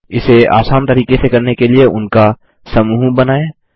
इसे आसान तरीके से करने के लिए उनका समूह बनाएँ